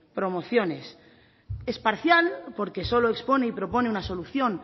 promociones es parcial porque solo expone y propone una solución